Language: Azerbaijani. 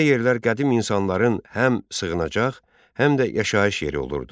Belə yerlər qədim insanların həm sığınacaq, həm də yaşayış yeri olurdu.